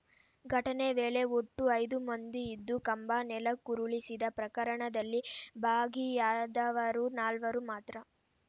ಘಟನೆ ವೇಳೆ ಒಟ್ಟು ಐದು ಮಂದಿ ಇದ್ದು ಕಂಬ ನೆಲಕ್ಕುರುಳಿಸಿದ ಪ್ರಕರಣದಲ್ಲಿ ಭಾಗಿಯಾದವರು ನಾಲ್ವರು ಮಾತ್ರ